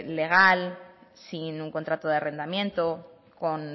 legal sin un contrato de arrendamiento con